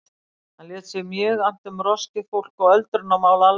Hann lét sér mjög annt um roskið fólk og öldrunarmál almennt.